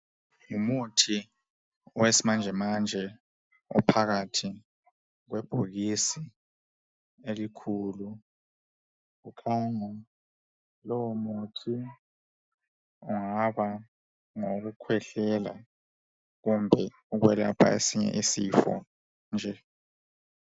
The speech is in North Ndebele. Ngumuthi wesimanjemanje ophakathi kwebhokisi elikhulu. Kukhanya lumuthi ungaba ngowokukhwehlela kumbe ukwelapha esinye isifo nje.